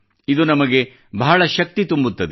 ಇದು ನಮಗೆ ಬಹಳ ಶಕ್ತಿ ತುಂಬುತ್ತದೆ